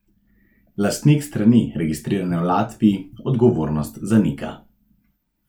Lastnik strani, registrirane v Latviji, odgovornost zanika.